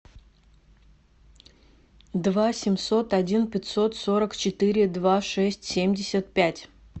два семьсот один пятьсот сорок четыре два шесть семьдесят пять